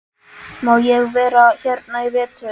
Má ég vera hérna í vetur?